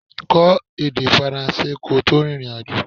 Kọ́ èdè faransé kí o tó rìnrìn àjò